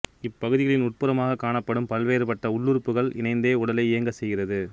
இப்பகுதிகளின் உட்புறமாகக் காணப்படும் பல்வேறுபட்ட உள்ளுறுப்புக்களும் இணைந்தே உடலை இயங்கச் செய்கிறது